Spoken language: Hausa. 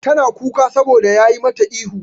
Tana kuka saboda yayi mata ihu.